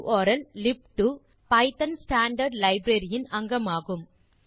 உர்ல்லிப்2 Python standard library இன் அங்கமாகும்